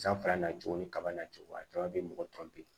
San filanan cogo ni kaba na cogo a kaba be mɔgɔ tɔ be